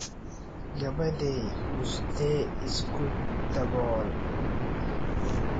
Gabadhay, buste isku dabool.